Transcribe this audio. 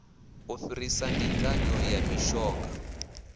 u fhirisa ndinganyo ya mishonga